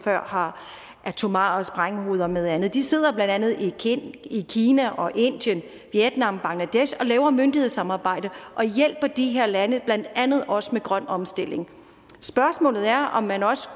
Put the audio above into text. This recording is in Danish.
har atomare sprænghoveder og meget andet de sidder blandt andet i kina i kina og indien vietnam og bangladesh og laver myndighedssamarbejde og hjælper de her lande blandt andet også med grøn omstilling spørgsmålet er om man også